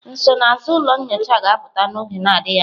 Nsonaazụ ụlọ nyocha ga-apụta n'oge adịghị anya.